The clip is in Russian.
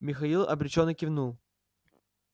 михаил обречённо кивнул